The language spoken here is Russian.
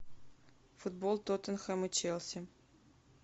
футбол тоттенхэм и челси